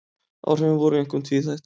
Áhrifin voru einkum tvíþætt